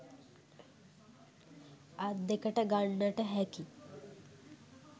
අත් දෙකට ගන්නට හැකි